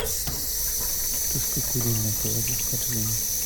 тушка куриная положи в корзину